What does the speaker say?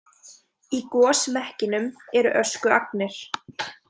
Í gosmekkinum eru öskuagnir.